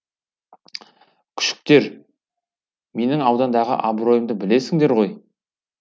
күшіктер менің аудандағы абыройымды білесіңдер ғой